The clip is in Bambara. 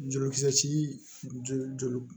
Jolikisɛ joli joli